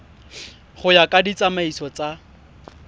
go ya ka ditsamaiso tsa